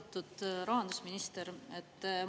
Austatud rahandusminister!